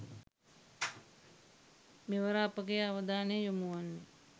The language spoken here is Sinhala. මෙවර අපගේ අවධානය යොමු වන්නේ